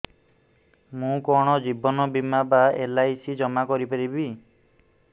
ମୁ କଣ ଜୀବନ ବୀମା ବା ଏଲ୍.ଆଇ.ସି ଜମା କରି ପାରିବି